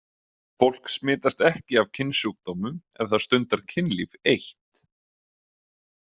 Fólk smitast ekki af kynsjúkdómum ef það stundar kynlíf eitt.